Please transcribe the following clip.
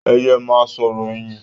Ẹ yẹ ma sọ̀rọ̀ ẹyin.